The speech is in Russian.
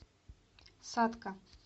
сатка